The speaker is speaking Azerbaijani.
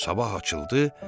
Sabah açıldı.